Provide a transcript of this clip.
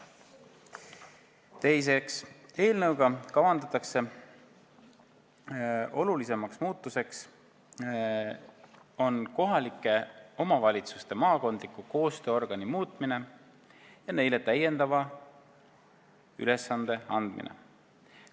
Teiseks eelnõuga kavandatud olulisemaks muutuseks on kohalike omavalitsuste maakondliku koostööorgani muutmine ja talle täiendava ülesande andmine.